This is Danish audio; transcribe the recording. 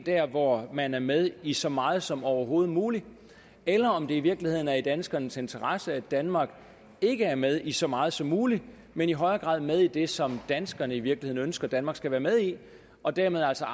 derind hvor man er med i så meget som overhovedet muligt eller om det i virkeligheden er i danskernes interesse at danmark ikke er med i så meget som muligt men i højere grad er med i det som danskerne i virkeligheden ønsker at danmark skal være med i og dermed altså